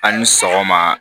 A' ni sɔgɔma